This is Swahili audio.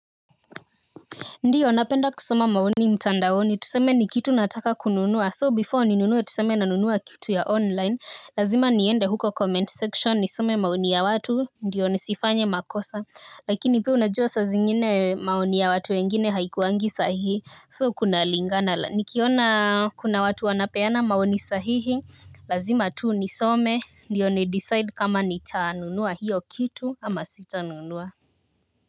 Ndiyo, napenda kusoma maoni mtandaoni, tuseme ni kitu nataka kununua So before ni nunue, tuseme na nunua kitu ya online. Lazima niende huko comment section, nisome maoni ya watu, ndiyo nisifanye makosa. Lakini pia unajua sa zingine maoni ya watu wengine haikuwangi sahihi So kuna lingana, nikiona kuna watu wanapeana maoni sahihi. Lazima tu nisome, ndiyo nidecide kama nita nunua hiyo kitu ama sita nunua.